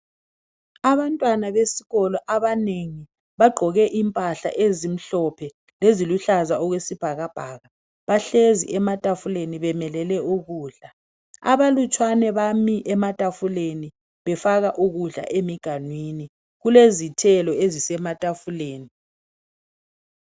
Abantwana besikolo abanengi bagqoke impahla ezimhlophe leziluhlaza okwesibhakabhaka bahlezi ematafuleni bemelele ukudla abalutshwane bami ematafuleni befaka ukudla emiganwini kulezithelo ezise matafuleni.